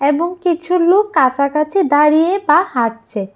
এবং কিছু লোক কাছাকাছি দাঁড়িয়ে বা হাঁটছে।